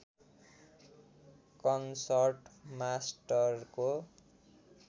concert मास्टरको